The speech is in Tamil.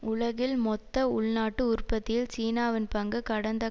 உலகில் மொத்த உள்நாட்டு உற்பத்தியில் சீனாவின் பங்கு கடந்த